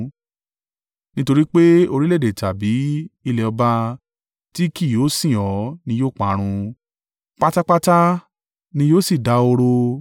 Nítorí pé orílẹ̀-èdè tàbí ilẹ̀ ọba tí kì yóò sìn ọ́ ni yóò parun; pátápátá ni yóò sì dahoro.